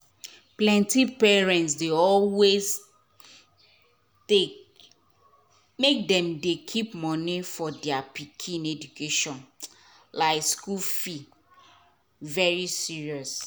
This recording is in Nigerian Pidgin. plenty parent dey always take make dem dey keep money for dia pikin education like school fee very serious.